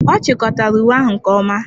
Ọ chịkọtara uwe ahụ nke ọma.